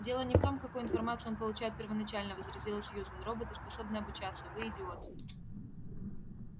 дело не в том какую информацию он получает первоначально возразила сьюзен роботы способны обучаться вы идиот